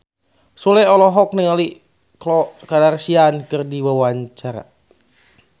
Sule olohok ningali Khloe Kardashian keur diwawancara